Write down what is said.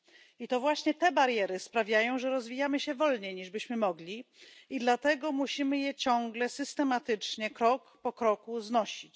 I to właśnie te bariery sprawiają, że rozwijamy się wolniej, niż byśmy mogli, i dlatego musimy je ciągle, systematycznie, krok po kroku znosić.